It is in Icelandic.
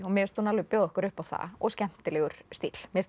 mér finnst hún alveg bjóða okkur upp á það og skemmtilegur stíll mér